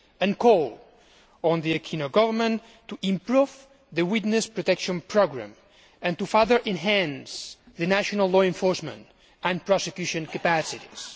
We call on the Aquino Government to improve the witness protection programme and to further enhance national law enforcement and prosecution capacities.